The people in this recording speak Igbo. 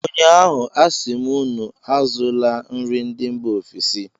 Ụnyaahụ, a sị m unu azụla nri ndị mba ofesi!